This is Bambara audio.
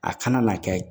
A kana na kɛ